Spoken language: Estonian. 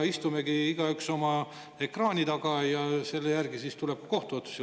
Istume igaüks oma ekraani taga ja selle järel siis tuleb kohtuotsus.